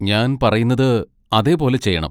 ഞാൻ പറയുന്നത് അതേപോലെ ചെയ്യണം